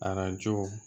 Arajo